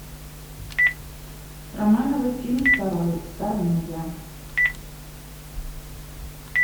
романовы фильм второй стар медия